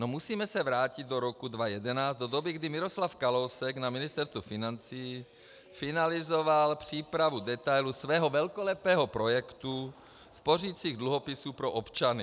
No musíme se vrátit do roku 2011, do doby, kdy Miroslav Kalousek na Ministerstvu financí finalizoval přípravu detailů svého velkolepého projektu spořicích dluhopisů pro občany.